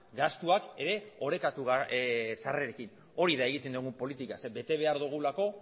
gastuak ere orekatu sarrerekin hori da egiten dugun politika ze bete behar dugulako